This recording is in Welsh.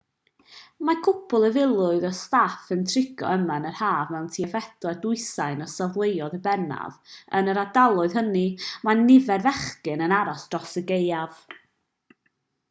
mae cwpwl o filoedd o staff yn trigo yma yn yr haf mewn tua phedwar dwsin o safleoedd yn bennaf yn yr ardaloedd hynny mae nifer fechan yn aros dros y gaeaf